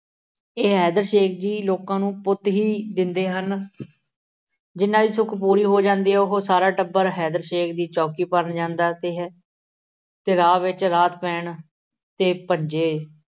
ਇਹ ਹੈੈਦਰ ਸ਼ੇਖ ਜੀ ਲੋਕਾਂ ਨੂੰ ਪੁੱਤ ਹੀ ਦਿੰਦੇ ਹਨ। ਜਿਹਨਾਂ ਦੀ ਸੁੱਖ ਪੂਰੀ ਹੋ ਜਾਂਦੀ ਹੈ, ਉਹ ਸਾਰਾ ਟੱਬਰ ਹੈਦਰ ਸ਼ੇਖ ਦੀ ਚੌਕੀ ਭਰਨ ਜਾਂਦਾ ਹੈ। ਤੇ ਰਾਹ ਵਿੱਚ ਰਾਤ ਪੈਣ 'ਤੇ